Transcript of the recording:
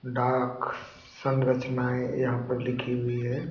डाक सनरचनाएँ यहाँ पर लिखी हुई है।